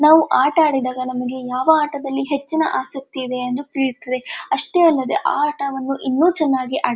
ನಾವು ಆಟಆಡಿದಾಗ ನಮಗೆ ಯಾವ ಆಟದಲ್ಲಿ ಹೆಚ್ಚಿನ ಆಸಕ್ತಿ ಇವೆ ಎಂದು ತಿಳಿಯುತ್ತದೆ ಅಷ್ಟೆ ಅಲ್ಲದೆ ಆ ಆಟವನ್ನು ಇನ್ನು ಚನ್ನಾಗಿ ಆಡಿದಾಗ --